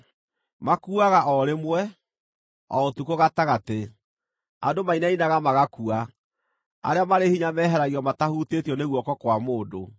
Makuuaga o rĩmwe, o ũtukũ gatagatĩ; andũ mainainaga magakua; arĩa marĩ hinya meeheragio matahutĩtio nĩ guoko kwa mũndũ.